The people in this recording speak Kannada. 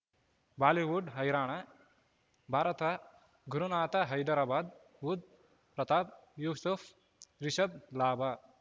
ಬಾಲಿವುಡ್ ಹೈರಾಣ ಭಾರತ ಗುರುನಾಥ ಹೈದರಾಬಾದ್ ಬುಧ್ ಪ್ರತಾಪ್ ಯೂಸುಫ್ ರಿಷಬ್ ಲಾಭ